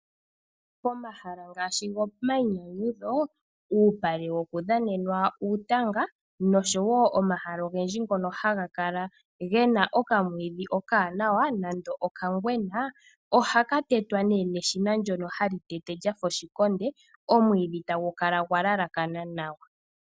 Pomahala ngaashi gomainyanyudho, uupale wokudhanenwa uutanga noshowoo omahala ogendji ngono haga kala ge na okamwiidhi okawanawa nando okangwena, oha ka tetwa neshina ndjono lyafa oshikonde, omwiidhi eta gu kala gwalalakana nawa.